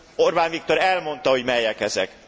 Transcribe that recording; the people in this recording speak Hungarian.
Orbán Viktor elmondta, hogy melyek ezek.